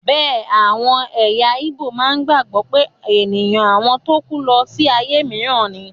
Bẹ́ẹ̀ àwọn ẹ̀yà ígbò má ń gbàgbọ́ pé ènìyàn àwọn tó kú lọ sí ayé mìíràn ni